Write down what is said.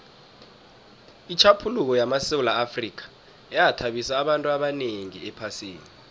itjhaphuluko lamasewula afrika yathabisa abantu abanengi ephasini